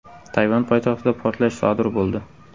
Tayvan poytaxtida portlash sodir bo‘ldi.